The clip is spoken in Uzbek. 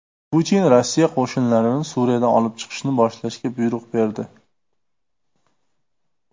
Putin Rossiya qo‘shinlarini Suriyadan olib chiqishni boshlashga buyruq berdi .